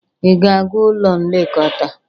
Ị ga-aga ụlọ nlekọta?